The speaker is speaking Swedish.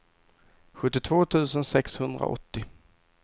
sjuttiotvå tusen sexhundraåttio